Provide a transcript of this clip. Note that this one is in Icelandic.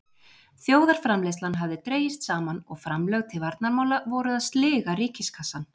Þjóðarframleiðslan hafði dregist saman og framlög til varnarmála voru að sliga ríkiskassann.